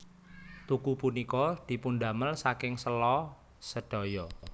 Tugu punika dipundamel saking sèla sedaya